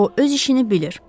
O öz işini bilir.